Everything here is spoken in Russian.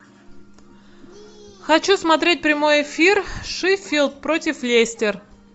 хочу смотреть прямой эфир шеффилд против лестер